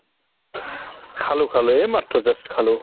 খালো খালো এইমাত্ৰ just খালো